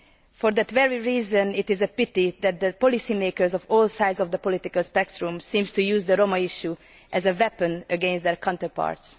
For that very reason, it is a pity that policy makers on all sides of the political spectrum seem to use the Roma issue as a weapon against their counterparts.